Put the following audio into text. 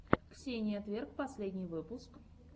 ксения тверк последний выпуск